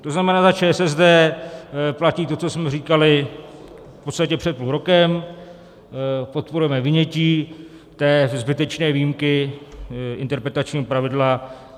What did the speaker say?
To znamená, za ČSSD platí to, co jsme říkali v podstatě před půl rokem, podporujeme vynětí té zbytečné výjimky interpretačního pravidla.